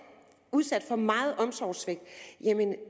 udsat for meget omsorgssvigt